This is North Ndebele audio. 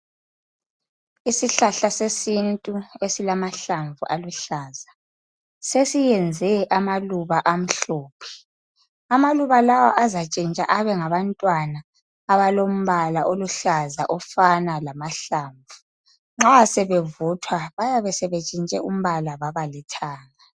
Isihlahla sesintu esilamahlamvu aluhlaza sesiyenze amaluba amhlophe. Amaluba lawa azantshintsha abe ngabantwana abalombala oluhlaza ofana lamahlamvu. Nxa sebevuthwa bayabe sebentshintshe umbala babalithanga.